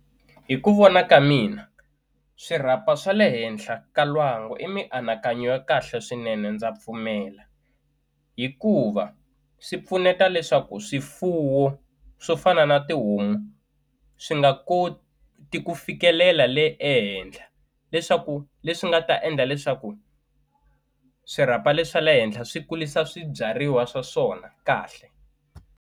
Hi ku vona ka mina swirhapa swa le henhla ka lwangu i mianakanyo ya kahle swinene ndza pfumela hikuva swi pfuneta leswaku swifuwo swo fana na tihomu swi nga koti ku fikelela le ehenhla leswaku leswi nga ta endla leswaku swirhapa le swa le henhla swi kurisa swibyariwa swa swona kahle.